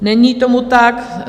Není tomu tak.